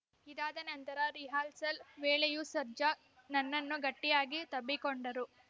ಇದಾದ ನಂತರ ರಿಹರ್ಸಲ್‌ ವೇಳೆಯೂ ಸರ್ಜಾ ನನ್ನನ್ನು ಗಟಿಯಾಗಿ ತಬ್ಬಿಕೊಂಡರು